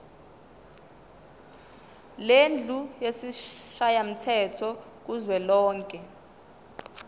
lendlu yesishayamthetho kuzwelonke